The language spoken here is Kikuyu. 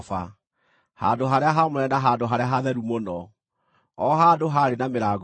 Handũ-harĩa-haamũre na Handũ-harĩa-Hatheru-Mũno, o handũ haarĩ na mĩrango ĩĩrĩ.